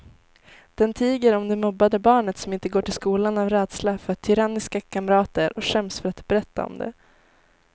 Den tiger om det mobbade barnet som inte går till skolan av rädsla för tyranniska kamrater och skäms för att berätta om det.